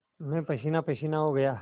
मैं पसीनापसीना हो गया